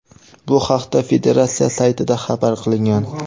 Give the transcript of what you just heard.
Bu haqda federatsiya saytida xabar qilingan.